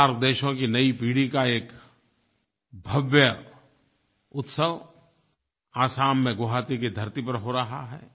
SAARC देशों की नई पीढ़ी का एक भव्य उत्सव असम में गुवाहाटी की धरती पर हो रहा है